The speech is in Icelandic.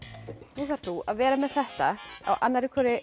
nú þarft þú að vera með þetta á annarri hvorri